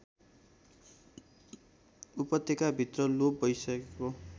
उपत्यकाभित्र लोप भइसकेको